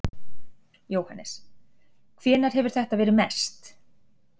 Jóhannes: Hvenær hefur þetta verið mest?